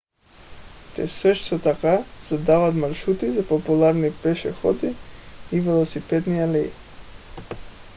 те също така задават маршрути за популярни пешеходни и велосипедни алеи